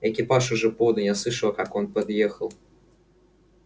экипаж уже подан я слышала как он подъехал